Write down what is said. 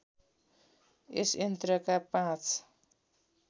यस यन्त्रका पाँच